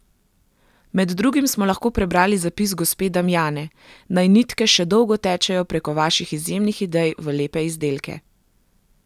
Med drugim smo lahko prebrali zapis gospe Damijane: "Naj nitke še dolgo tečejo preko vaših izjemnih idej v lepe izdelke.